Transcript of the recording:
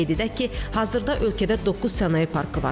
Qeyd edək ki, hazırda ölkədə doqquz sənaye parkı var.